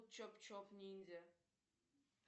чоп чоп ниндзя